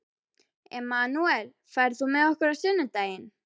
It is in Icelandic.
Emanúel, ferð þú með okkur á sunnudaginn?